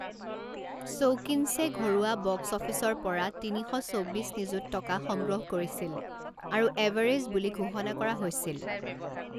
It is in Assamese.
শৌকিনছে ঘৰুৱা বক্স অফিচৰ পৰা তিনি শ চৌবিছ নিযুত টকা সংগ্ৰহ কৰিছিল আৰু এভাৰেজ বুলি ঘোষণা কৰা হৈছিল।